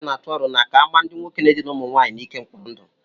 ụmụnwaanyị na-atụ aro na a ka-amaa ndị nwoke na-edina ụmụ nwanyị n'ike mkpọrọ ndụ